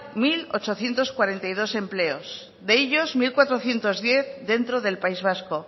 mil ochocientos cuarenta y dos empleos de ellos mil cuatrocientos diez dentro del país vasco